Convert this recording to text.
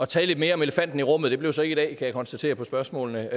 tale lidt mere om elefanten i rummet det blev så ikke i dag kan jeg konstatere på spørgsmålene